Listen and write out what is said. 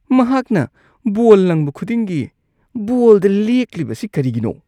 ꯃꯍꯥꯛꯅ ꯕꯣꯜ ꯂꯪꯕ ꯈꯨꯗꯤꯡꯒꯤ ꯕꯣꯜꯗ ꯂꯦꯛꯂꯤꯕꯁꯤ ꯀꯔꯤꯒꯤꯅꯣ?